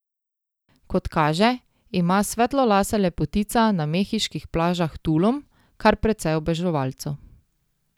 Kot kaže, ima svetlolasa lepotica na mehiških plažah Tulum kar precej oboževalcev.